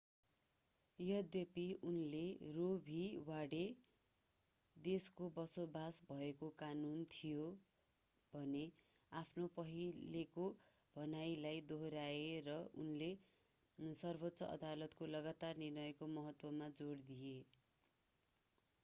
यद्यपि उनले Roe v Wade roe v wade देशको बसोबास भएको कानून” थिए भन्ने आफ्नो पहिलेको भनाइलाई दोहोर्‍याए र उनले सर्वोच्च अदालतको लगातार निर्णयको महत्त्वमा जोड दिए।